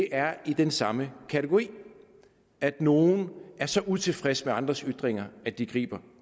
er i den samme kategori at nogle er så utilfredse med andres ytringer at de griber